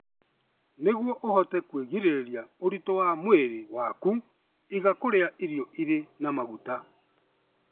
Nĩguo ũhote kwĩgirĩrĩria ũritũ wa mwĩrĩ waku, iga kũrĩa irio irĩ na maguta.